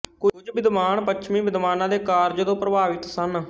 ਕੁਝ ਵਿਦਵਾਨ ਪੱਛਮੀ ਵਿਦਵਾਨਾਂ ਦੇ ਕਾਰਜ ਤੋਂ ਪ੍ਰਭਾਵਿਤ ਸਨ